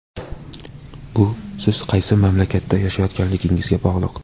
Bu siz qaysi mamlakatda yashayotganligingizga bog‘liq.